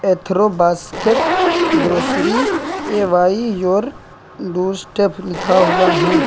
एथरो basket grocery away your doorstep लिखा हुआ है।